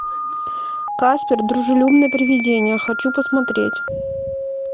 каспер дружелюбное привидение хочу посмотреть